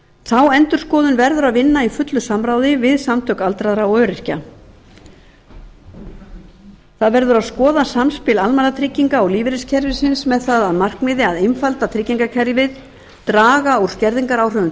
þá endurskoðun verður að vinna í fullu samráði við samtök aldraðra og öryrkja skoða verður samspil almannatrygginga og lífeyriskerfisins með það að markmiði að einfalda tryggingakerfið draga úr skerðingaráhrifum